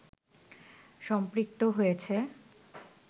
সম্পৃক্ত হয়েছে